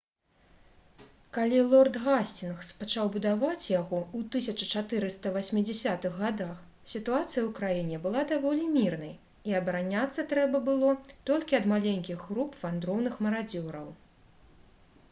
калі лорд гасцінгс пачаў будаваць яго ў 1480-х гадах сітуацыя ў краіне была даволі мірнай і абараняцца трэба было толькі ад маленькіх груп вандроўных марадзёраў